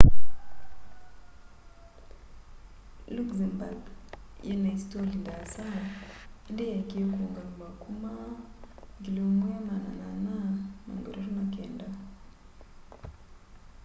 luxembourg yina isitoli ndaasa indi yaekie kuungamiwa kuma 1839